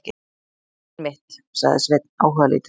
Einmitt, sagði Sveinn áhugalítill.